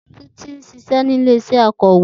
Titi ń ṣiṣẹ́ ní ilé-iṣẹ́ akọ̀wé.